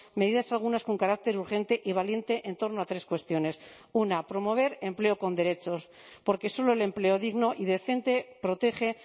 medidas algunas con carácter urgente y valiente en torno a tres cuestiones una promover empleo con derechos porque solo el empleo digno y decente protege